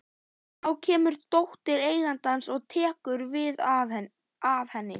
Þá kemur dóttir eigandans og tekur við af henni.